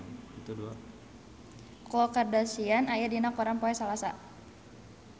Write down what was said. Khloe Kardashian aya dina koran poe Salasa